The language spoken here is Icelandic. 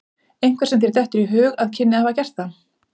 Einhver sem þér dettur í hug að kynni að hafa gert það?